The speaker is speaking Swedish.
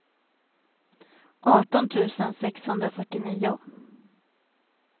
arton tusen sexhundrafyrtionio